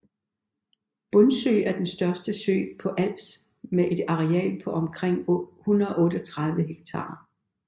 Bundsø er den største sø på Als med et areal på omkring 138 ha